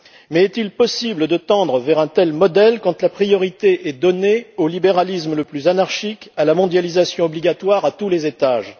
Mais est il possible de tendre vers un tel modèle quand la priorité est donnée au libéralisme le plus anarchique, à la mondialisation obligatoire à tous les étages?